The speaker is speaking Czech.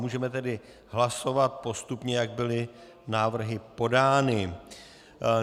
Můžeme tedy hlasovat postupně, jak byly návrhy podány.